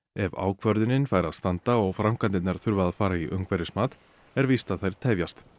ef ákvörðunin fær að standa og framkvæmdirnar þurfa að fara í umhverfismat er víst að þær tefjast